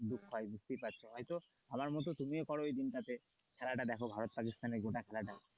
দুঃখ হয় বুঝতেই পার হয়তো আমার মতো তুমি ও করো ওই দিনটাতে খেলাটা দেখো ভারত পাকিস্তানের গোটা খেলাটা।